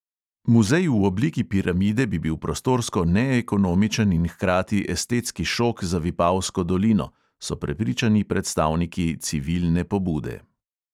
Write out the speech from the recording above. "Muzej v obliki piramide bi bil prostorsko neekonomičen in hkrati estetski šok za vipavsko dolino," so prepričani predstavniki civilne pobude.